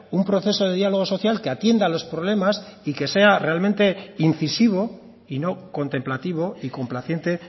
un proceso de diálogo social que atienda los problemas y que sea realmente incisivo y no contemplativo y complaciente